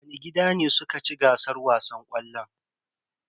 Wani gida ne suka ci gasar wasan ƙwallon?